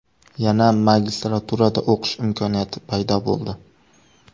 Yana magistraturada o‘qish imkoniyati paydo bo‘ldi.